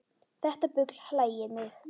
Þetta bull hlægir mig